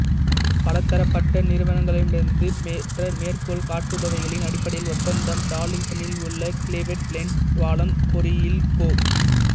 பலதரப்பட்ட நிறுவனங்களிடமிருந்து பெற்ற மேற்கோள் காட்டுபவைகளின் அடிப்படையில் ஒப்பந்தம் டார்லிங்டனில் உள்ள க்லீவ்லேண்ட் பாலம் பொறியியல் கோ